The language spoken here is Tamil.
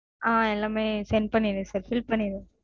ஆஹ் எல்லாமே send பண்ணிட்றன் sir bill பண்ணிடுங்க